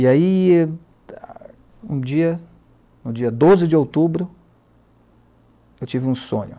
E aí, um dia, no dia doze de outubro, eu tive um sonho.